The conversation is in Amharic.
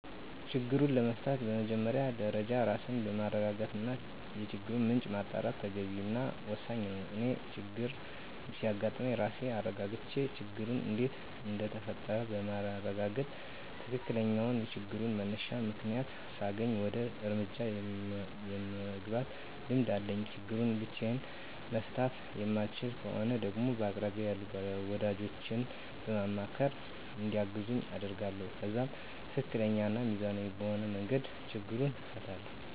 ችግሩን ለመፍታት በመጀመሪያ ደረጃ ራስን ማረጋጋት እና የችግሩን ምንጭ ማጣራት ተገቢ እና ወሳኝ ነው። እኔ ችግር ሲያጋጥም ራሴን አረጋግቼ ችግሩ እንዴት እንደተፈጠረ በማረጋገጥ ትክክለኛውን የችግሩን መነሻ ምክንያት ሳገኝ ወደ እርምጃ የመግባት ልምድ አለኝ። ችግሩን ብቻየን መፍታት የማልችለው ከሆነ ደግሞ በቅርቤ ያሉ ወዳጆቼን በማማካር እንዲያግዙኝ አደርጋለሁ። ከዛም ትክክለኛ እና ሚዛናዊ በሆነ መንገድ ችግሩን እፈታለሁ።